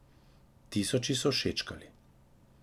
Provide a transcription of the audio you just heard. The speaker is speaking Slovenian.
Tisoči so všečkali.